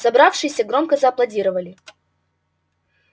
собравшиеся громко зааплодировали